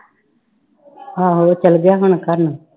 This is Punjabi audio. ਆਹੋ ਉਹ ਚਲੇ ਗਿਆ ਹੁਣ ਘਰ ਨੂੰ।